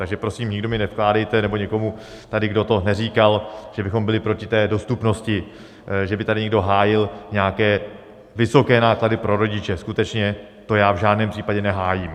Takže prosím, nikdo mi nevkládejte, nebo někomu tady, kdo to neříkal, že bychom byli proti té dostupnosti, že by tady někdo hájil nějaké vysoké náklady pro rodiče, skutečně, to já v žádném případě nehájím.